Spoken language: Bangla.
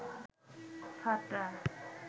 ফাটা